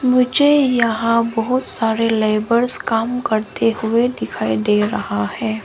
मुझे यहां बहुत सारे लेबर्स काम करते हुए दिखाई दे रहा है।